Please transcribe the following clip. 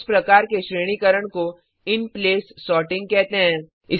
इस प्रकार के श्रेणीकरण को इनप्लेस सॉर्टिंग कहते हैं